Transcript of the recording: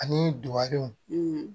Ani dugalenw